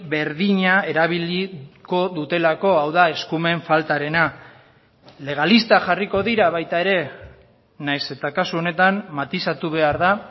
berdina erabiliko dutelako hau da eskumen faltarena legalistak jarriko dira baita ere nahiz eta kasu honetan matizatu behar da